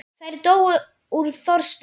Þær dóu úr þorsta.